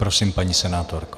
Prosím, paní senátorko.